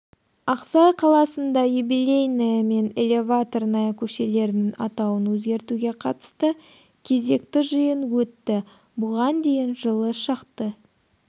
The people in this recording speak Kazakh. ақсай қаласында юбелейная мен элеваторная көшелерінің атауын өзгертеуге қатысты кезекті жиын өтті бұған дейін жылы шақты